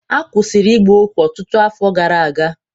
A kwụsịrị ịgba ohu ọtụtụ afọ gara aga